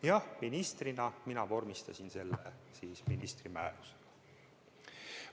Jah, ministrina mina vormistasin selle ministri määrusega.